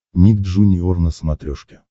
ник джуниор на смотрешке